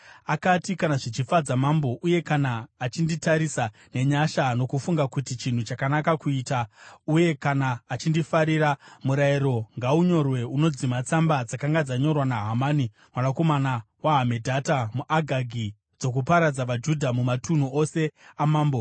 Akati, “Kana zvichifadza mambo, uye kana achinditarisa nenyasha nokufunga kuti chinhu chakanaka kuita, uye kana achindifarira, murayiro ngaunyorwe unodzima tsamba dzakanga dzanyorwa naHamani mwanakomana waHamedhata, muAgagi, dzokuparadza vaJudha mumatunhu ose amambo.